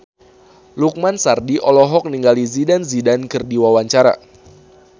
Lukman Sardi olohok ningali Zidane Zidane keur diwawancara